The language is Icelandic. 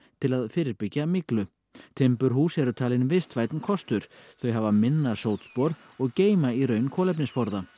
til að fyrirbyggja myglu timburhús eru talin vistvænni kostur þau hafa minna sótspor og geyma í raun kolefnisforða